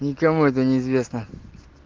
никому это неизвестно